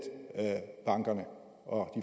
bankerne og